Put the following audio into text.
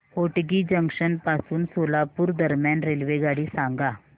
Hotgi junction पासून सोलापूर दरम्यान रेल्वेगाडी सांगा